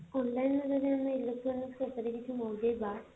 online ରୁ ଯଦି ଆମେ electronics ଉପରେ କିଛି ମଗେଇବା